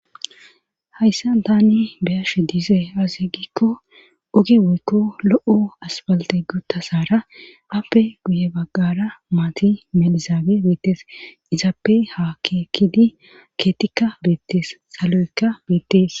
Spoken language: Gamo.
hayssa tani beyash dize azi giikko uge woykko lo7o asbalte gutasaara appe guye baggara maati melizaage beettes izaappe ha kekidi keetikka beettees salo7ekka beettees